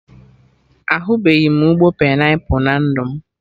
Ahubeghi m ụgbọ painiapụl na ndụ m